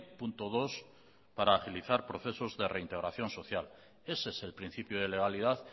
punto dos para agilizar procesos de reintegración social ese es el principio de legalidad